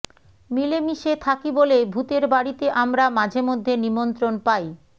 মিলেমিশে থাকি বলে ভূতের বাড়িতে আমরা মাঝেমধ্যে নিমন্ত্রণ পাই